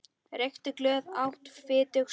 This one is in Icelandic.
Reykti glöð, át fitug slög.